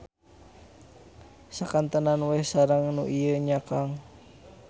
Sakantenan weh sareng nu ieu nya kang.